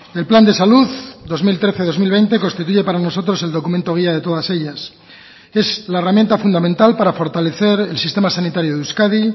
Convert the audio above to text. el plan de salud dos mil trece dos mil veinte constituye para nosotros el documento guía de todas ellas es la herramienta fundamental para fortalecer el sistema sanitario de euskadi